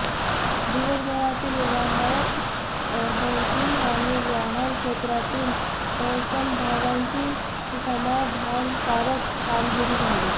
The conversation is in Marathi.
दिवसभरातील व्यवहारात बँकिंग आणि वाहन क्षेत्रातील समभागांची समाधानकारक कामगिरी झाली